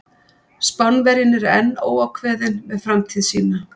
Spánverjinn er enn óákveðinn með framtíð sína.